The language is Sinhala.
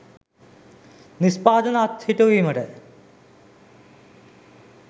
නිෂ්පාදන අත්හිටුවීමට